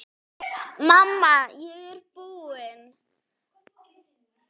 Mamma, ég er búin!